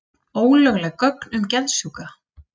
Ólögleg gögn um geðsjúka